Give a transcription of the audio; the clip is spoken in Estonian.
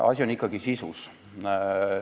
Asi on ikkagi sisus.